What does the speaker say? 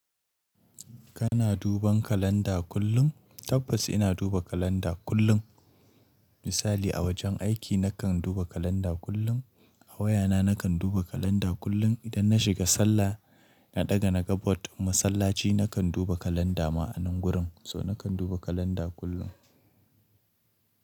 Kana duban kalanda kullum? Tabbas ina duba kalanda kullum. Misali a wajen aiki nakan duba kalanda kullum, a wayana nakan duba kalanda kullum, idan na shiga sallah na ɗaga naga board din masallaci nakan duba kalanda ma a nan gurin. So nakan duba kalanda kullum.